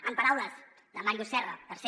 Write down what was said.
en paraules de màrius serra per ser